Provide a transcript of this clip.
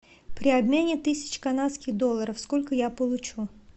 при обмене тысяч канадских долларов сколько я получу